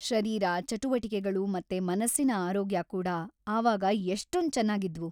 ಶರೀರ ಚಟುವಟಿಕೆಗಳು ಮತ್ತೆ ಮನಸ್ಸಿನ ಆರೋಗ್ಯ ಕೂಡಾ ಆವಾಗ ಎಷ್ಟೊಂದ್‌ ಚೆನ್ನಾಗಿದ್ವು.